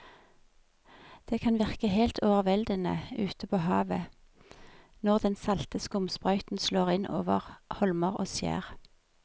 Det kan virke helt overveldende ute ved havet når den salte skumsprøyten slår innover holmer og skjær.